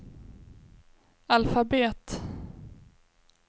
alfabet